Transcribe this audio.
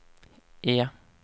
E